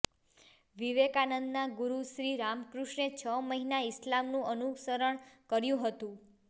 વિવેકાનંદના ગુરુ શ્રી રામકૃષ્ણે છ મહિના ઈસ્લામનું અનુસરણ કર્યું હતું